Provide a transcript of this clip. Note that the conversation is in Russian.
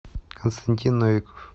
константин новиков